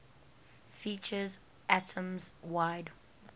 features atoms wide